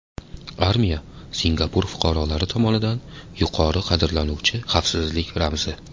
Armiya Singapur fuqarolari tomonidan yuqori qadrlanuvchi xavfsizlik ramzi.